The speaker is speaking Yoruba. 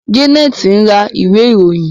Janet ń rà Ìwé-ìròyìn.